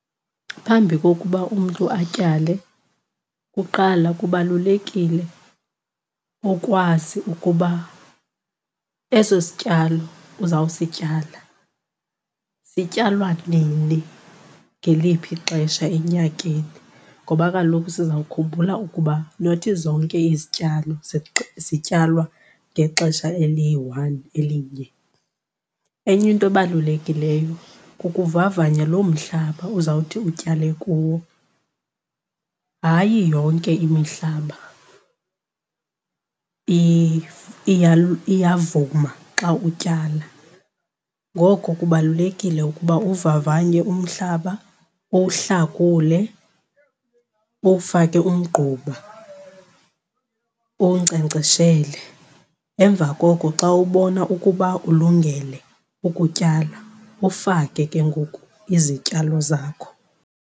Phambi kokuba umntu atyale kuqala kubalulekile ukwazi ukuba eso sityalo uzawusityala sityalwa nini ngeliphi ixesha enyakeni. Ngoba kaloku sizawukhumbula ukuba nothi zonke izityalo zityalwa ngexesha eliyi-one, elinye. Enye into ebalulekileyo kukuvavanya loo mhlaba uzawuthi utyale kuwo. Hayi yonke imihlaba iyavuma xa utyala ngoko kubalulekile ukuba uwuvavanye umhlaba, uwuhlakule, uwufake umgquba, uwunkcenkceshele, emva koko xa ubona ukuba ulungele ukutyala ufake ke ngoku izityalo zakho.